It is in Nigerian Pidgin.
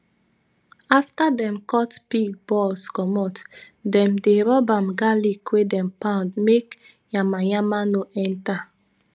afta dem cut pig balls commot dem dey rub am garlic wey dem pound make nyama nyama no enta